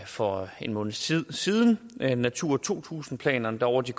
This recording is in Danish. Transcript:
for en måneds tid siden natura to tusind planerne der over de